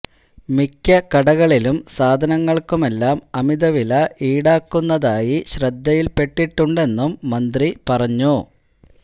മിക്ക കടകളിലും സാധനങ്ങള്ക്കെല്ലാം അമിത വില ഈടാക്കുന്നതായി ശ്രദ്ധയില്പ്പെട്ടിട്ടുണ്ടെന്നും മന്ത്രി പറഞ്ഞു